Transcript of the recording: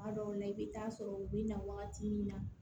Kuma dɔw la i bɛ taa sɔrɔ u bɛ na wagati min na